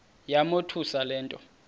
yamothusa le nto